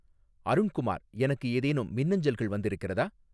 அருண்குமார் எனக்கு ஏதேனும் மின்னஞ்சல்கள் வந்திருக்கிறதா